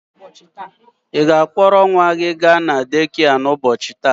Ị ga-akpọrọ nwa gị ga na dekịa ụbọchị taa?